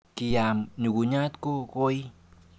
Kiyam nyukunyat ku koi.